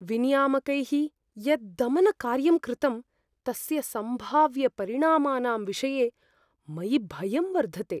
विनियामकैः यत् दमनकार्यं कृतं तस्य सम्भाव्यपरिणामानां विषये मयि भयम् वर्धते।